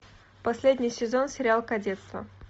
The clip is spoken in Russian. последний сезон сериал кадетство